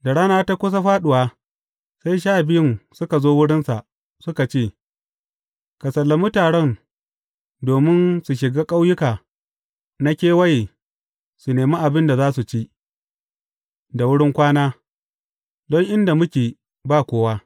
Da rana ta kusa fāɗuwa, sai Sha Biyun suka zo wurinsa, suka ce, Ka sallami taron domin su shiga ƙauyuka na kewaye, su nemi abin da za su ci, da wurin kwana, don inda muke, ba kowa.